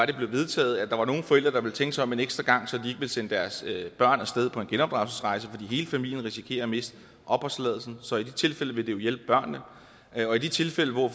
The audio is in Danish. det blev vedtaget at der var nogle forældre som ville tænke sig om en ekstra gang så de ville sende deres børn af sted på en genopdragelsesrejse fordi hele familien ville risikere at miste opholdstilladelsen så i de tilfælde ville det jo hjælpe børnene og i de tilfælde hvor